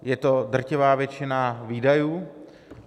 Je to drtivá většina výdajů.